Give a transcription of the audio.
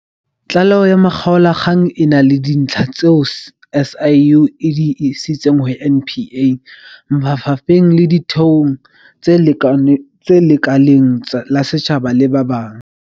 Tlaleho ya makgaolakgang e na le dintlha tseo SIU e di isitseng ho NPA, mafa pheng le ditheong tse lekaleng la setjhaba le ba bang.